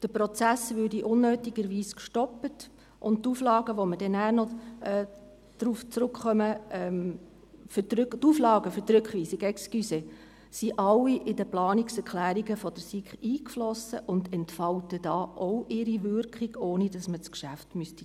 Der Prozess würde unnötigerweise gestoppt, und die Auflagen für die Rückweisung sind alle in Planungserklärungen der SiK eingeflossen und entfalten da auch ihre Wirkung, ohne dass man das Geschäft zurückweisen müsste.